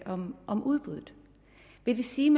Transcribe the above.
om om udbuddet vil det sige